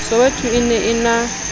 soweto e ne e na